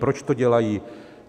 Proč to dělají?